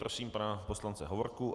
Prosím pana poslance Hovorku.